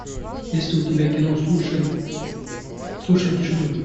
есть ли у тебя кино слушай слушай тишину